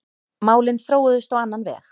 Málin þróuðust á annan veg.